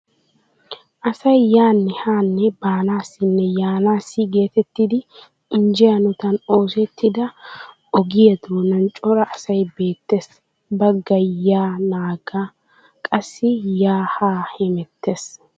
Asay yaanne haanne baanaassinne yaanaassi geetettidi injje hanotan oosettida ohiya doonan cora asay beettees. Baggay yaa nagga qassi yaa bemettees.